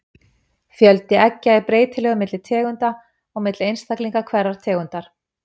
Fjöldi eggja er breytilegur milli tegunda og milli einstaklinga hverrar tegundar.